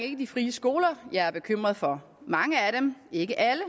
ikke de frie skoler jeg er bekymret for mange af dem ikke alle